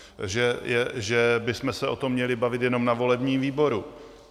Že bychom se o tom měli bavit jenom na volebním výboru.